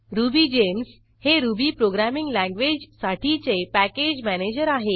RubyGems हे Ruby programming लँग्वेजसाठीचे package manager आहे